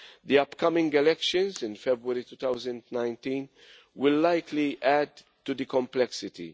The upcoming elections in February 2019 will likely add to the complexity.